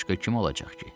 Başqa kim olacaq ki?